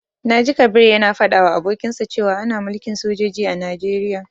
Na ji Kabir ya na faɗa wa abokinsa cewa ana mulkin sojoji a Najeriya